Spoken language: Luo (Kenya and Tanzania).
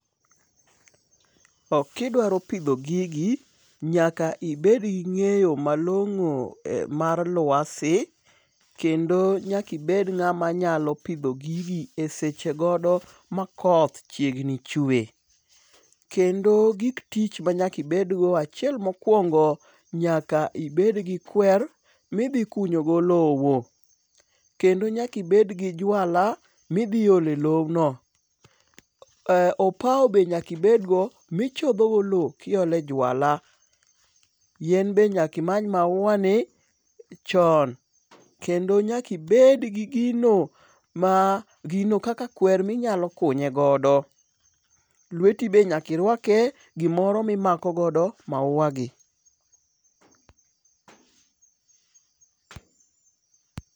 Kidwaro pidho gigi nyaka ibed gi ng'eyo malongo mar lwasi kendo nyaki bed ng'ama nyalo pidho gigi e seche gogo makoth chiegni chwe. Kendo gik tich manyaki bed go achiel mokwongo nyaki bed gi kwer midhi kunyo go lowo. kendo nyaki bed gi jwala midhi ole lobno opawo be nyaki bedgo michodho go lowo kiole jwala. Yien be nyaki many maua ni chon kendo nyaki bed gi gino ma gino kaka kwer minyalo kunye godo. Lweti be nyaki rwake gimoro mimako godo maua gi